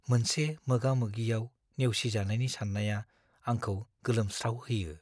मोनसे मोगा-मोगिआव नेवसिजानायनि सान्नाया आंखौ गोलोमस्रावहोयो।